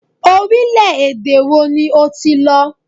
Orílẹ-èdè wo ni o ti lọ?